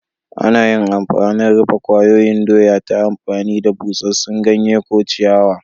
Ana yin rufe kwayoyin doya ta amfani da busassun ganye ko ciyawa.